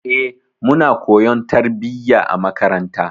E, muna koyon tarbiyya a makaranta.